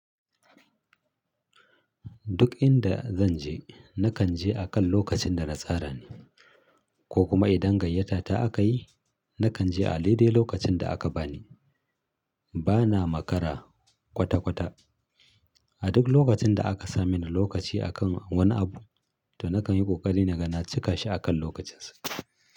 Duk inda zan je, na kan je akan lokacin da na tsara ne ko kuma idan gayyata aka yi, na kan je a litani lokacin da aka bani. Bana makara kwata-kwata. A duk lokacin da aka sa mini lokaci akan wani abu, to na kan yi ƙoƙari na gan cika shi akan lokacinsa.